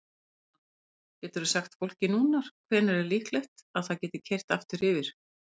Kristján: Geturðu sagt fólki núna hvenær er líklegt að það geti keyrt aftur yfir?